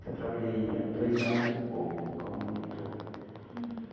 Que eu trabalhei há dois anos e pouco como monitor. Uhum.